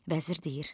Vəzir deyir.